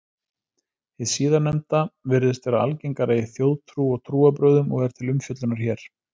Hið síðarnefnda virðist vera algengara í þjóðtrú og trúarbrögðum og er til umfjöllunar hér.